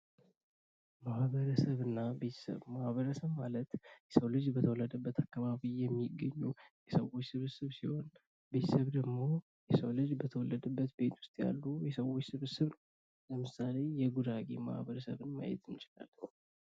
ማህበረሰብ እና ቤተሰብ፦ ማህበረሰብ ማለት የሰዉ ልጅ በተወለደበት አከባቢ የሚገኙ የሰዎች ስብስብ ሲሆን ቤተሰብ ደሞ የሰው ልጅ በተወለደበት ቤት ዉስት ያሉ የሰዎች ስብስብ ነው። ለምሳሌ የጉራጌ ማህበረሰብን ማየት እንችላለን።